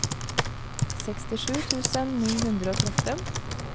sekstisju tusen ni hundre og tretten